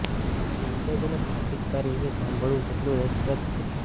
vintage અને classic car વિશે સાંભળવું જેટલું રસપ્રદ છે